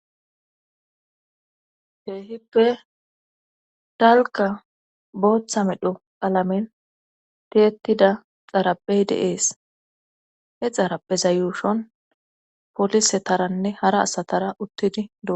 Keehippe dalka booththa medho alamen tietida xarapey deees he xarape zayushon polise taranne hara asatara uttidi du..